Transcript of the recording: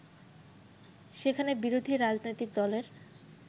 সেখানে বিরোধী রাজনৈতিক দলের